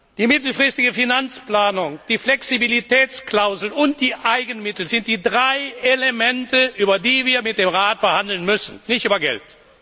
Die mittelfristige Finanzplanung, die Flexibilitätsklausel und die Eigenmittel sind die drei Elemente, über die wir mit dem Rat verhandeln müssen, nicht über Geld.